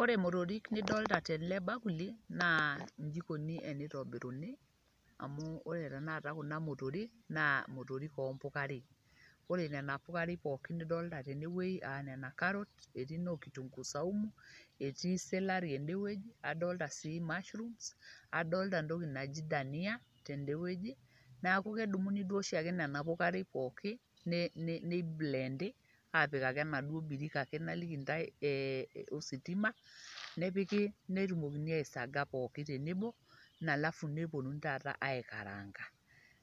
ore motorik nidoolta tele bakuli naa iji ikoni tenitobiruni. amu ore tena kata kuna motorik naa motorik oo mpukarei. ore nena pukarei pookin nidolita tene wueji aa nena karot, etii noo kitunguu saumu etii selari ede wueji. adoolta sii mushrooms \adolta entoki naji dania tede wueji, neeku kedumuni duo oshi ake nena pukarei pookin nei blend aapik ake enaduoo birika naliki ntae ositima, nepiki, netumokini aisaga pookin tenebo. alafu neppuonunui taata aikaranga.